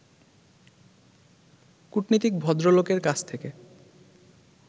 কূটনীতিক ভদ্রলোকের কাছ থেকে